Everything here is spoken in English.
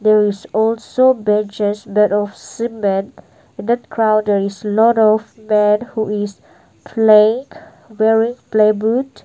there is also that of cement that crowd is lot of men who is playing wearing playboot.